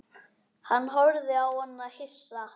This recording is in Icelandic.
Hann horfði á hana hissa.